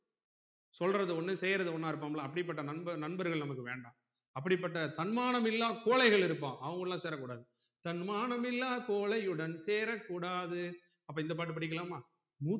சொல்றது ஒன்னு செய்யுறது ஒன்னா இருப்போம்ல அப்டி பட்ட நண்பர் நண்பர்கள் நமக்கு வேண்டாம் அப்புடிப்பட்ட தன்மானம் இல்லா கோழைகள் இருப்பான் அவன் கூடலாம் சேரக்கூடாது தன்மானம் இல்லா கோழையுடன் சேரக்கூடாது அப்ப இந்த பாட்டு புடிக்கலாமா